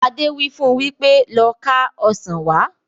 Adé wí fún wípé "Lọ ká Ọ̀sán wá"!